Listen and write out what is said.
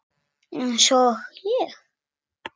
Eins og ég?